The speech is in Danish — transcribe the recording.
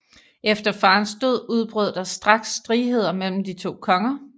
Efter farens død udbrød der straks stridheder mellem de to konger